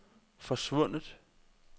forsvundet